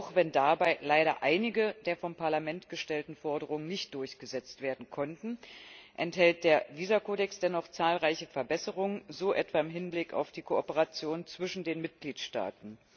Auch wenn dabei leider einige, der vom Parlament gestellten Forderungen nicht durchgesetzt werden konnten, enthält der Visakodex dennoch zahlreiche Verbesserungen, so etwa im Hinblick auf die Kooperation zwischen den Mitgliedstaaten.